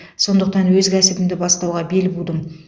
сондықтан өз кәсібімді бастауға бел будым